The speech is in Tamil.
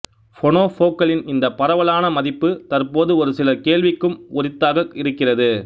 பொனொபோக்களின் இந்த பரவலான மதிப்பு தற்போது ஒரு சிலர் கேள்விக்கும் உரித்தாக இருக்கிறது